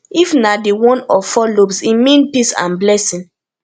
if na di one of four lobes e mean peace and blessing